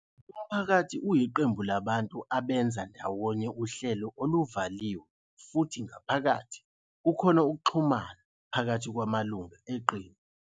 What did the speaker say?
Umphakathi uyiqembu labantu abenza ndawonye uhlelo oluvaliwe futhi ngaphakathi kukhona ukuxhumana phakathi kwamalungu eqembu.